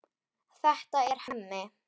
Þetta er Hemmi.